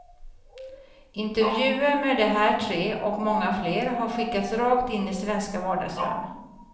Intervjuer med de här tre, och många fler, har skickats rakt in i svenska vardagsrum.